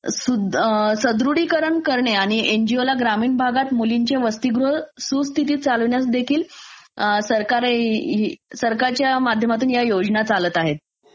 सु..अम्म..सढृडीकरण करणे आणि एनजीओ ला ग्रामीण भागात मुलींच्या वसतीगृह सुस्थितीत चालविण्यास देखिल अं सरकारच्या माध्यमातून ह्या योजना चालतं आहेत.